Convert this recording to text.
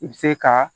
I bɛ se ka